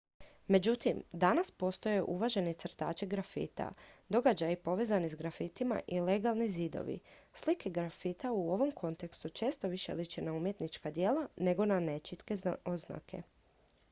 "međutim danas postoje uvaženi crtači grafita događaji povezani s grafitima i "legalni" zidovi. slike grafita u ovom kontekstu često više liče na umjetnička djela nego na nečitke oznake.